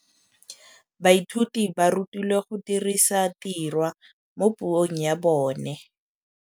Baithuti ba rutilwe go dirisa tirwa mo puong ya bone.